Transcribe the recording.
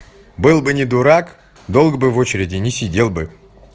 был бы не дурак долго был в очереди не сидел бы